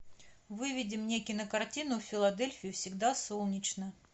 выведи мне кинокартину в филадельфии всегда солнечно